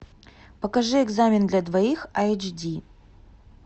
покажи экзамен для двоих эйч ди